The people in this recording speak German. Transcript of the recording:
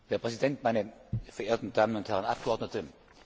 Herr Präsident, meine verehrten Damen und Herren Abgeordnete!